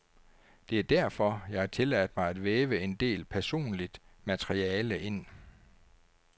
Det er derfor, jeg har tilladt mig at væve en del personligt materiale ind.